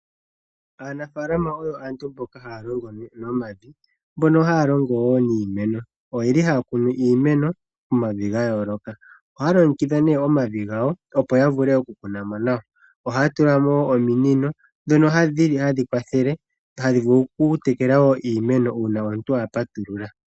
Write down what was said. Aanafaalama oyo aantu mboka haya longo nomavi niimeno. Ohaya kunu iimeno momavi gayooloka. Ohaya longekidha omavi opo ya vule okukuna mo, ohaya tula mo ominino ndhono hadhi kwathele okutekela iimeno.